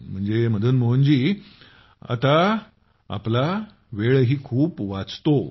म्हणजे आता आपला वेळही खूप वाचतो